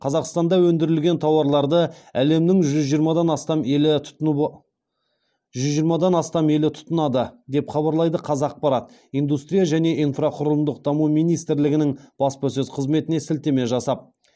қазақстанда өндірілген тауарларды әлемнің жүз жиырмадан астам елі тұтынады деп хабарлайды қазақпарат индустрия және инфрақұрылымдық даму министрлігінің баспасөз қызметіне сілтеме жасап